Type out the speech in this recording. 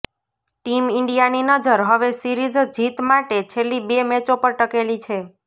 team ઈન્ડિયાની નજર હવે સીરીઝ જીત માટે છેલ્લી બે મેચો પર ટકેલી છે